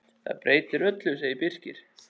Það breytir öllu, segir Birkir.